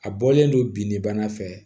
A bɔlen don bin de bana fɛ